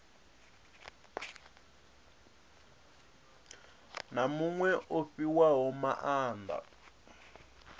na muṅwe o fhiwaho maanda